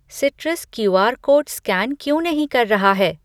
Citrus QR code scan क्यों नहीं कर रहा है?